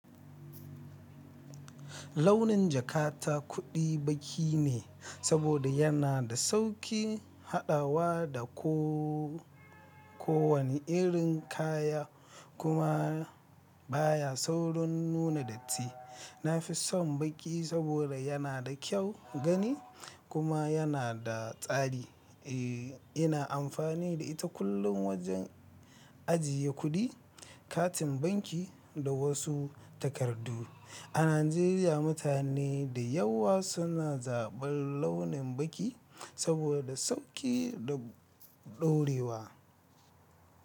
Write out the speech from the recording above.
Launin jakata kuɗi baki ne saboda yana da sauƙi haɗawa da ko-ko wani irin kaya kuma baya saurin nuna datti. Na fi son baki saboda yana da kyau gani kuma yana da tsari. E, ina amfani da ita kullum wajen ajiye kuɗi, katin banki da wasu takardu. A Najeriya, mutane da yawa suna zaɓan launin baki saboda sauƙi da ɗorewa.